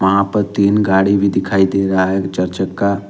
यहां पर तीन गाड़ी भी दिखाई दे रहा है एक चार चक्का--